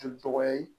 Joli tɔgɔ ye